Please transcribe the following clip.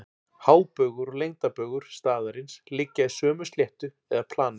Hábaugur og lengdarbaugur staðarins liggja í sömu sléttu eða plani.